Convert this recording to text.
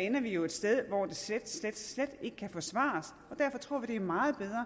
ender vi jo et sted hvor det slet slet slet ikke kan forsvares og derfor tror vi det er meget bedre